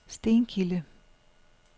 Stenkilde